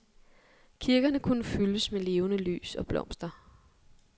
Kirkerne kunne fyldes med levende lys og blomster.